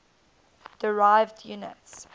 derived units